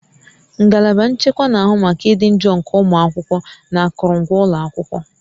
Ngalaba nchekwa na-ahụ maka ịdị njọ nke ụmụ akwụkwọ na akụrụngwa ụlọ akwụkwọ